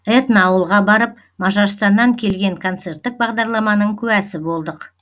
этно ауылға барып мажарстаннан келген концерттік бағдарламаның куәсі болдық